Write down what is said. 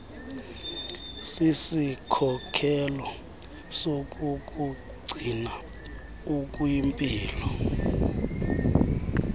sisikhokelo sokukugcina ukwimpilo